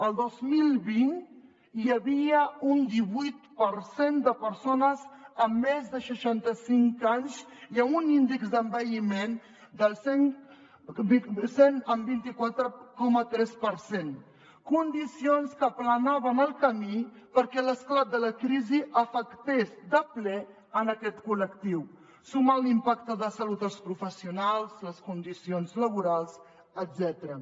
el dos mil vint hi havia un divuit per cent de persones amb més de seixanta cinc anys i amb un índex d’envelliment del cent i vint quatre coma tres per cent condicions que aplanaven en el camí perquè l’esclat de la crisi afectés de ple aquest col·lectiu sumat a l’impacte de salut als professionals les condicions laborals etcètera